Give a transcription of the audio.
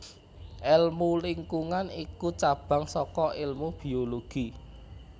Èlmu lingkungan iku cabang saka ilmu biologi